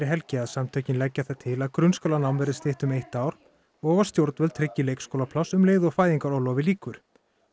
helgi að samtökin leggja það til að grunnskólanám verði stytt um eitt ár og að stjórnvöld tryggi leikskólapláss um leið og fæðingarorlofi lýkur